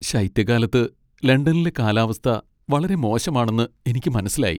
ശൈത്യകാലത്ത് ലണ്ടനിലെ കാലാവസ്ഥ വളരെ മോശമാണെന്ന് എനിക്ക് മനസ്സിലായി .